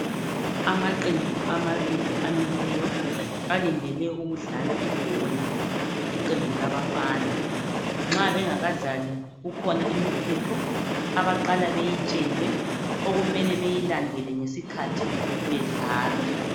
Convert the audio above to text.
Amaqembu amabili amileyo alindele ukudlala ibhola. Iqembu labafana nxa bengakadlali kukhona imithetho abaqala beyitshelwe okumele bayilandele ngesikhathi bedlala.